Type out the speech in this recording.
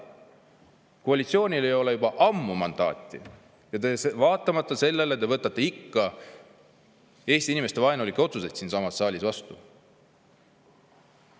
Koalitsioonil ei ole juba ammu mandaati, aga vaatamata sellele te võtate ikka Eesti inimeste vaenulikke otsuseid siinsamas saalis vastu.